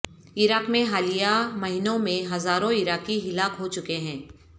عراق میں حالیہ مہینوں میں ہزاروں عراقی ہلاک ہو چکے ہیں